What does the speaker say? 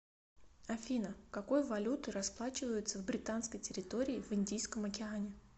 афина какой валютой расплачиваются в британской территории в индийском океане